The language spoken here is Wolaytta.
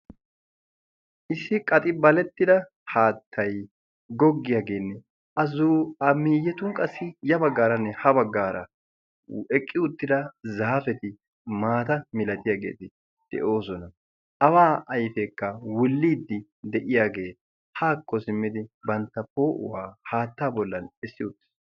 issi qaxibalettida haattay goggiyaageenne azuamiiyetun qassi ya baggaaranne ha baggaara eqqi uttida zaafeti maata milatiyaagee de'oosona awaa ayfeekka wulliiddi de'iyaagee haakko simmidi bantta poo'uwaa haattaa bollan essi ootiis